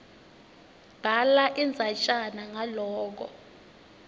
bhala indzatjana ngaloko